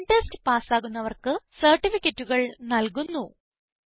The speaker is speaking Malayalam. ഓൺലൈൻ ടെസ്റ്റ് പാസ്സാകുന്നവർക്ക് സർട്ടിഫികറ്റുകൾ നല്കുന്നു